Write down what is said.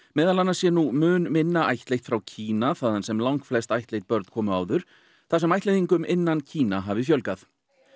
meðal annars sé nú mun minna ættleitt frá Kína þaðan sem langflest ættleidd börn komu áður þar sem ættleiðingum innan Kína hafi fjölgað